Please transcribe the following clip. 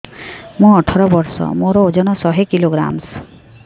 ମୁଁ ଅଠର ବର୍ଷ ମୋର ଓଜନ ଶହ କିଲୋଗ୍ରାମସ